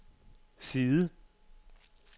side